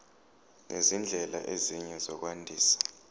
nezindlela ezinye zokwandisa